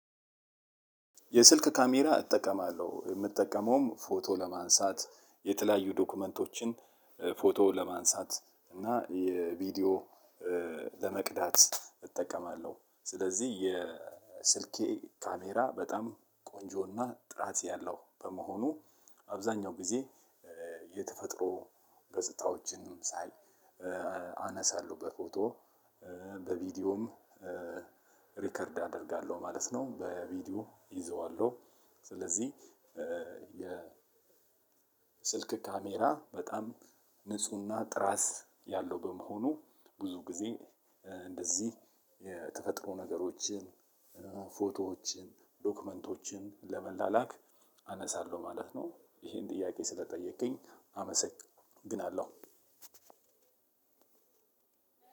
የስልክ ካሜራ እጠቀማለሁ የምጠቀመውም ፎቶ ለማንሳት የተለያዩ ዶክመንቶችን ፎቶ ለማንሳት እና የቪዲዮ ለመቅዳት እጠቀማለሁ ስለዚህ የስልኬ ካሜራ በጣም ቆንጆና ጥራት ያለው በመሆኑ አብዛኛው ጊዜ የተፈጥሮ ገጽታዎችንም ሳይ አነሳለሁ በፎቶ በቪዲዮም ሪከርድ አደርጋለሁ ማለት ነው በቪዲዮ እይዘዋለሁ። ስለዚህ የስልክ ካሜራ በጣም ንፁህና ጥራት ያለው በመሆኑ ብዙ ጊዜ እንደዚህ የተፈጥሮ ነገሮችን ፎቶዎችን ዶክመንቶችን ለመላላክ አነሳለሁ ማለት ነው። ይሄን ጥያቄ ስለጠየከኝ አመሰግናለሁ።